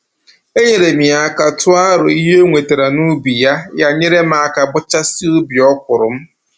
Enyeere m ya aka tụọ arọ ihe o wetara n'ubi ya, ya nyere m aka bọchasịa ubi ọkwụrụ m